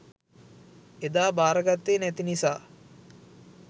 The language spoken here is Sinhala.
එදා බාරගත්තේ නැති නිසා